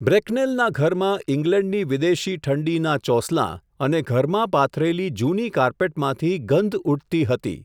બ્રેકનેલના ઘરમાં ઈંગ્લૅન્ડની વિદેશી ઠંડીનાં ચોસલાં, અને ઘરમાં પાથરેલી જૂની કાર્પેટમાંથી ગંધ ઊઠતી હતી.